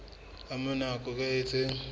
ka mora nako e itseng